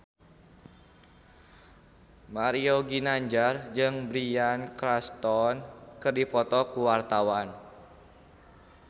Mario Ginanjar jeung Bryan Cranston keur dipoto ku wartawan